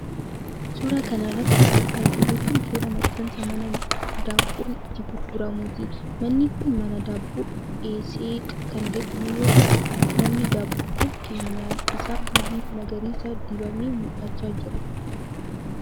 Suura kana irratti kan argaa jirru kun, suura maxxansa mana daabboon itti gurguramuuti. Manni kun mana daabboo Eeseeq kan jedhamu yoo ta'u, manni daabboo kun keenyaan isaa haalluu magariisa dibamee mul'achaa jira.